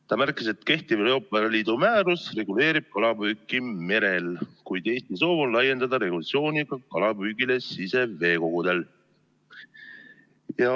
Ta märkis, et kehtiv Euroopa Liidu määrus reguleerib kalapüüki merel, kuid Eesti soov on laiendada regulatsiooni kalapüügile siseveekogudel.